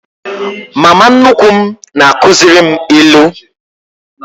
Mama nnukwu m na-akuziri m ilu.